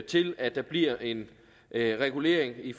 til at der bliver en regulering i